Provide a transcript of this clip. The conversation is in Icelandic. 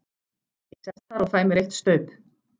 Ég sest þar og fæ mér eitt staup.